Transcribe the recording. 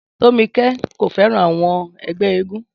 Tómikẹ́ kò fẹ́ràn àwọn ẹgbẹ́ éégún